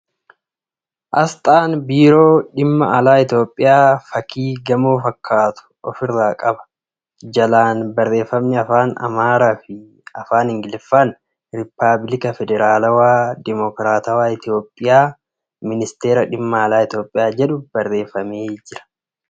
Asxaan biiroo dhimma alaa Itiyoophiyaa fakkii gamoo fakkaatu ofirraa qaba. Jalaan Barreeffamni Afaan Amaaraa fi. Afaan Ingiliffaaan ' Riippabilika Federaalaawaa, Dimokiraatawaa Itiyoophiyaa , Ministara dhimma alaa Itiyoophiyaa ' jedhu barreeffamee jira.